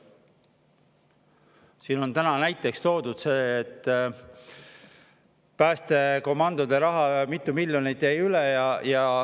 Siin on täna näiteks toodud see päästekomandode raha, et mitu miljonit jäi üle.